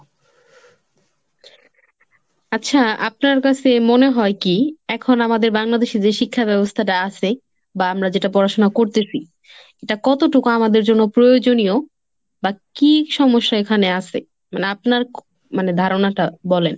আচ্ছা আপনার কাছে মনে হয় কি? এখন আমাদের বাংলাদেশে যে শিক্ষা ব্যবস্থাটা আছে বা আমরা যেটা পড়াশোনা করতেছি, এটা কতটুকু আমাদের জন্য প্রয়োজনীয়? বা কি সমস্যা এখানে আছে? মানে আপনার মানে ধারণাটা বলেন।